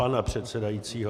- pana předsedajícího.